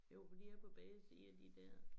Jo for de er på begge sider de dér